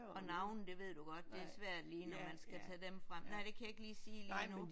Og navne det ved du godt det er svært lige når man skal tage dem frem. Nej det kan jeg ikke lige sige lige nu